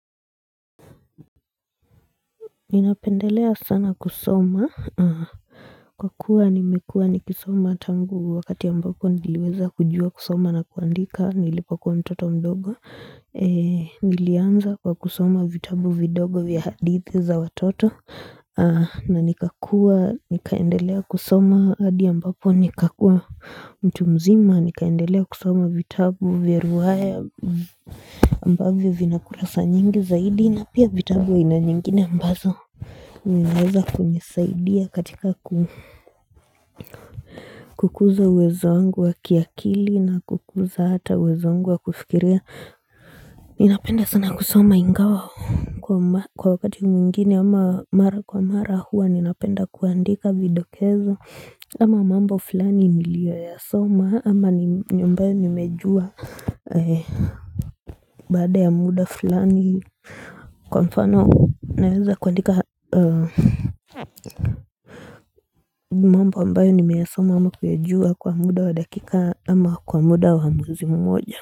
Ninapendelea sana kusoma Kwa kuwa nimekua nikisoma tangu wakati ambako niliweza kujua kusoma na kuandika nilipakua mtoto mdogo Nilianza kwa kusoma vitabu vidogo vya hadithi za watoto na nikakua nikaendelea kusoma hadi ambapo nikakua mtu mzima nikaendelea kusoma vitabu vya ruhaya ambavyo vina kurasa nyingi zaidi na pia vitabu aina nyingine ambazo Ninaweza kunisaidia katika kukuza uwezo wangu wa kiakili na kukuza hata uwezo wangu wa kufikiria Ninapenda sana kusoma ingawa kwa wakati mwingine ama mara kwa mara hua ninapenda kuandika vidokezo Ama mambo fulani nilioyasoma ama ambayo nimejua baada ya muda fulani Kwa mfano naweza kuandika mambo ambayo nimeasoma ama kuejua kwa muda wa dakika ama kwa muda wa msimu moja.